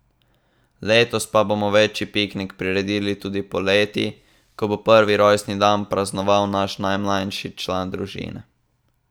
Letos pa bomo večji piknik priredili tudi poleti, ko bo prvi rojstni dan praznoval naš najmlajši član družine.